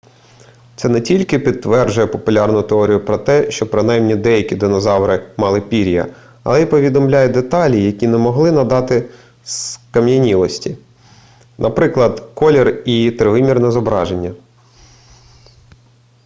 це не тільки підтверджує популярну теорію про те що принаймні деякі динозаври мали пір'я але і повідомляє деталі які не могли надати скам'янілості наприклад колір і тривимірне зображення